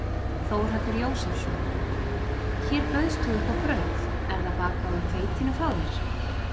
Þórhallur Jósefsson: Hér bauðst þú upp á brauð, er það bakað úr hveitinu frá þér?